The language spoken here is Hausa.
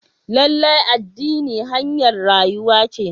Lallai addini hanyar rayuwa ce.